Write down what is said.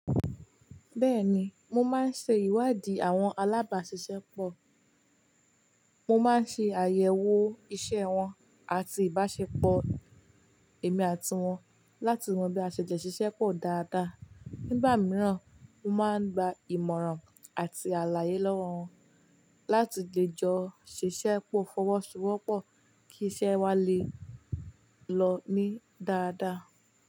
Bẹ́ẹ̀ni, mo máa ń ṣe ìwádìí àwọn alábàáṣiṣẹ́ pọ̀. Mo máa ń ṣe àyẹ̀wò iṣẹ́ wọn àti ìbáṣepọ̀ èmi àti wọn láti mọ bí a ṣe jẹ ṣiṣẹ́ pọ̀ dáadáa. Nígbà mìíràn, mo máa ń gba ìmọ̀ràn àti àlàyé lọ́wọ́ wọn láti lè jọ ṣiṣẹ́ pọ̀ fọwọ́sowọ́pọ̀ kí iṣẹ́ wa lè lọ ní dáadáa.